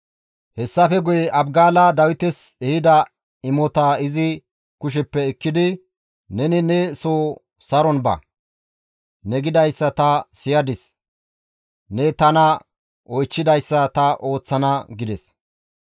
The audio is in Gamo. Hessafe guye Abgaala Dawites ehida imotaa izi kusheppe ekkidi, «Neni ne soo saron ba; ne gidayssa ta siyadis; ne tana oychchidayssa ta ooththana» gides.